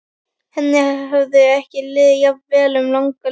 Henni hafði ekki liðið jafn vel um langa hríð.